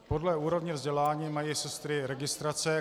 Podle úrovně vzdělání mají sestry registrace.